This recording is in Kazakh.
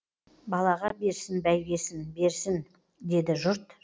балаға берсін бәйгесін берсін деді жұрт